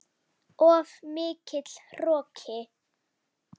Of mikill hroki.